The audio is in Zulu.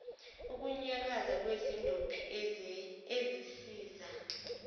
ukunyakaza kwezindophi ezisiza